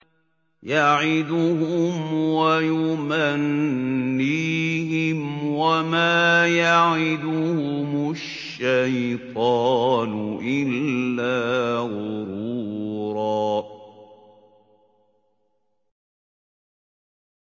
يَعِدُهُمْ وَيُمَنِّيهِمْ ۖ وَمَا يَعِدُهُمُ الشَّيْطَانُ إِلَّا غُرُورًا